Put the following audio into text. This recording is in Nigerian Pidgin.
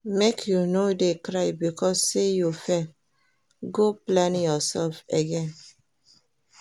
Make you no dey cry because sey you fail, go plan yoursef again.